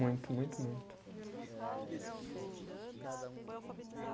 Muito, muito, muito.